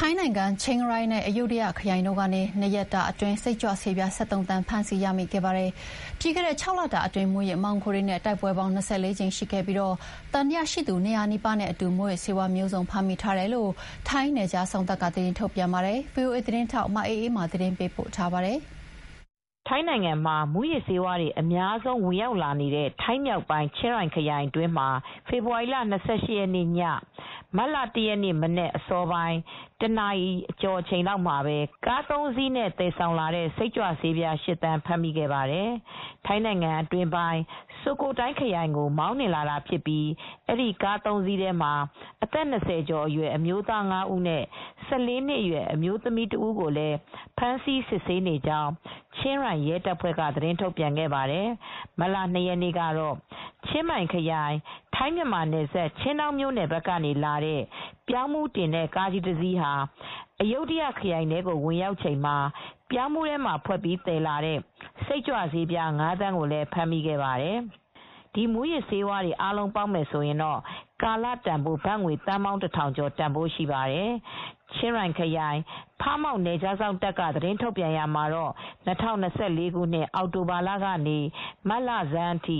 ထိုင်းနိုင်ငံ ချင်းရိုင်နဲ့ အယုဒ္ဓယခရိုင်တို့ကနေ ၂ ရက်တာအတွင်း စိတ်ကြွဆေးပြား ၁၃ သန်း ဖမ်းဆီးရမိခဲ့ပါတယ်။ ပြီးခဲ့တဲ့ ၆ လတာအတွင်း မူးယစ်မှောင်ခိုတွေနဲ့ တိုက်ပွဲပေါင်း ၂၄ ကြိမ် ရှိခဲ့ပြီး သံသယရှိသူ ၂၀၀ နီးပါးနဲ့အတူ မူးယစ်ဆေးဝါးမျိုးစုံ ဖမ်းမိထားတယ်လို့ ထိုင်း နယ်ခြားစောင့်တပ်က သတင်းထုတ်ပြန်ပါတယ်။ ဗွီအိုအေသတင်းထောက် မအေးအေးမာ သတင်းပေးပို့ထားပါတယ်။ ထိုင်းနိုင်ငံမှာ မူးယစ်ဆေးဝါးတွေအများဆုံး ဝင်ရောက်လာနေတဲ့ ထိုင်းမြောက်ပိုင်း ချင်းရိုင်ခရိုင် အတွင်းမှာ ဖေဖေါ်ဝါရီလ၂၈ ရက်နေ့ည မတ်လ ၁ ရက်နေ့ မနက်အစောပိုင်း ၁ နာရီအချိန်လောက်မှာပဲ ကား ၃ စီးနဲ့ သယ်ဆောင်လာတဲ့ စိတ်ကြွဆေးပြား ၈ သန်း ဖမ်းမိခဲ့ပါတယ်။ ထိုင်းအတွင်းပိုင်း ဆိုကိုထိုင်းခရိုင်ကို မောင်းနှင်လာတာဖြစ်ပြီး အဲဒီ ကား ၃ စီးထဲမှာ အသက် ၂၀ ကျော်အရွယ် အမျိုးသား ၅ ဦးနဲ့ ၁၄ နှစ်အရွယ် အမျိုးသမီးတဦးကိုလည်း ဖမ်းဆီးစစ်ဆေးနေကြောင်း ချင်းရိုင် ရဲတပ်ဖွဲ့က သတင်းထုတ်ပြန်ခဲ့ပါတယ်။ မတ်လ ၂ ရက်နေ့ကတော့ ချင်းမိုင်ခရိုင် ထိုင်း-မြန်မာနယ်စပ် ချင်းဒေါင်းမြို့နယ်ဘက်ကနေလာတဲ့ ပြောင်းဖူးတင်တဲ့ ကားကြီးတစီးဟာ အယုဒ္ဓယခရိုင်ထဲကို ဝင်ရောက်ချိန်မှာ ပြောင်းဖူးထဲမှာ ဖွက်ပြီးသယ်လာတဲ့ စိတ်ကြွဆေးပြား ၅ သန်းကို ဖမ်းမိခဲ့ပါတယ်။ ဖမ်းမိတဲ့ မူးယစ်ဆေးဝါးတွေအားလုံးရဲ့ ကာလတန်ဖိုးကတော့ ဘတ်ငွေ သန်းပေါင်း ၁,၀၀၀ ကျော်လောက် တန်ဖိုးရှိပါတယ်။ ချင်းရိုင်ခရိုင် ဖမောင့် နယ်ခြားစောင့်တပ်က သတင်းထုတ်ပြန်ရာမှာ ၂၀၂၄ ခုနှစ် အောက်တိုဘာလကနေ မတ်လဆန်းထိ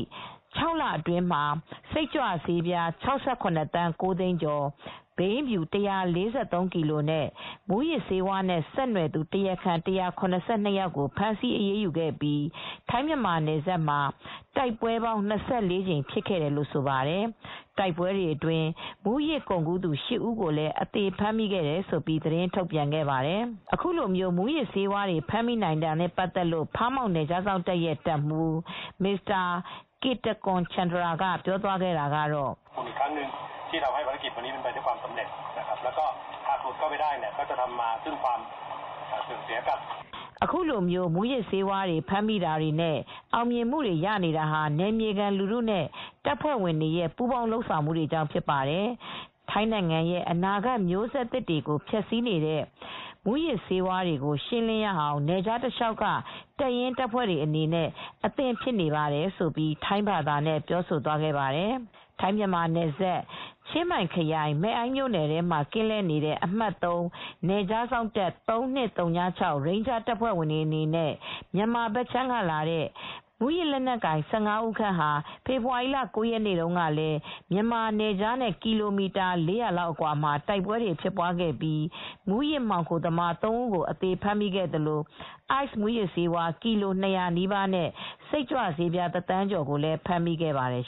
၆ လအတွင်းမှာ စိတ်ကြွဆေးပြား ၆၇ သန်း ၉ သိန်းကျော်၊ ဘိန်းဖြူ ၁၄၃ ကီလိုနဲ့ မူးယစ်ဆေးဝါးနဲ့ ဆက်နွယ်သူတရားခံ ၁၇၂ ယောက်ကို ဖမ်းဆီးအရေးယူခဲ့ပြီး ထိုင်း-မြန်မာနယ်စပ်မှာ တိုက်ပွဲပေါင်း ၂၄ ကြိမ် ဖြစ်ခဲ့တယ်လို့ ဆိုပါတယ်။ တိုက်ပွဲတွေအတွင်း မူးယစ်ကုန်ကူးသူ ၈ ဦးကိုလည်း အသေဖမ်းမိခဲ့တယ်လို့ သတင်းထုတ်ပြန်ခဲ့ပါတယ်။ အခုလို မူးယစ်ဆေးဝါးတွေ ဖမ်းမိနိုင်တာနဲ့ပတ်သက်လို့ Pha Muang Task Force ဖမောင့် နယ်ခြားစောင့်တပ်ရဲ့ တပ်မှူး ကစ်တကွန် ချန်တရာ (Maj. Gen. Kittakorn Chantra) က - "အခုလို မူးယစ်ဆေးဝါးတွေ ဖမ်းမိတဲ့ အောင်မြင်မှုတွေ ရနေတာဟာ နယ်မြေလူထုနဲ့ တပ်ဖွဲဝင်တွေရဲ့ ပူးပေါင်းလုပ်ဆောင်မှုတွေကြောင့် ဖြစ်ပါတယ်။ ထိုင်းနိုင်ငံရဲ့ အနာဂတ်မျိုးဆက်တွေကိုဖျက်ဆီးနေတဲ့ မူးယစ်ဆေးဝါးတွေကို ရှင်းလင်းရအောင် နယ်ခြားတလျှောက်က တပ်ရင်းတပ်ဖဲွ့တွေအနေနဲ့ အသင့်ဖြစ်နေပါတယ်" လို့ ပြောသွားခဲ့ပါတယ်။ ထိုင်း-မြန်မာနယ်စပ် ချင်းမိုင်ခရိုင် မယ်အိုင့်မြိုနယ် ထဲမှာ ကင်းလှည့်နေတဲ့ အမှတ် (၃) နယ်ခြား စောင့်တပ် ၃၂၀၆ ရိန်းဂျားတပ်ဖွဲ့ဝင်တွေနဲ့ မြန်မာဘက်ခြမ်းကလာတဲ့ မူးယစ်လက်နက်ကိုင် ၁၅ ဦး ခန့်ဟာ ဖေဖေါ်ဝါရီလ ၉ ရက်နေ့တုန်းကလည်း မြန်မာနယ်ခြားနဲ့ ကီလိုမီတာ ၄၀၀ လောက်အကွာမှာ တိုက်ပွဲတွေ ဖြစ်ပွားခဲ့ပြီး မူးယစ်မှောင်ခိုသမား ၃ ဦး အသေဖမ်းမိခဲ့ပြီး Ice မူးယစ်ဆေး ကီလို ၂၀၀ နီးပါးနဲ့ စိတ်ကြွဆေးပြား တသန်းကျော် ဖမ်းမိခဲ့ပါတယ်